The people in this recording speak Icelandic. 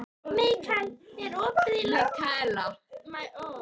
Mikaela, er opið í Landbúnaðarháskólanum?